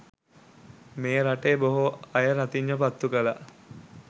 මේ රටේ බොහෝ අය රතිඤ්ඤා පත්තු කළා.